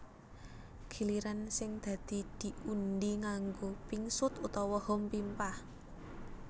Giliran sing dadi diundhi nganggo pingsut utawa hompimpah